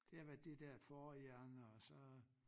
Det har været det dér fårehjerne og så